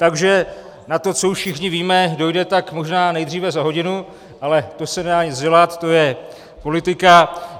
Takže na to, co už všichni víme, dojde tak možná nejdříve za hodinu, ale to se nedá nic dělat, to je politika.